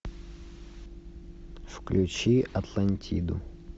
включи атлантиду